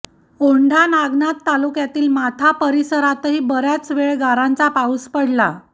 औंढा नागनाथ तालुक्यातील माथा परिसरातही बराच वेळ गारांचा पाऊस पडला